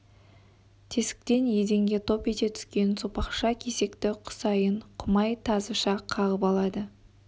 тесіктен еденге топ ете түскен сопақша кесекті құсайын құмай тазыша қағып алады